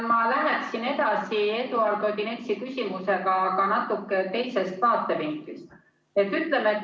Ma läheksin edasi Eduard Odinetsi küsimusega, aga natuke teisest vaatevinklist.